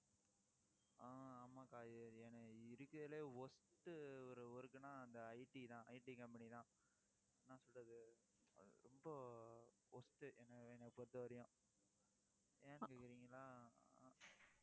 ஆஹ் ஆமா, அக்கா ஏன்னா இருக்கறதுலயே, worst ஒரு work ன்னா அந்த IT தான் IT company தான் என்ன சொல்றது ரொம்ப worst என்னை என்னை பொறுத்தவரைக்கும் ஏன் கேக்கறீங்களா